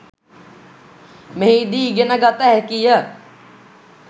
මෙහිදී ඉගෙන ගත හැකිය.